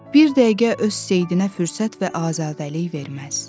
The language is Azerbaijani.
Bir dəqiqə öz sevdinə fürsət və azadlıq verməz.